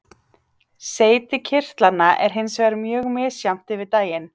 Seyti kirtlanna er hins vegar mjög misjafnt yfir daginn.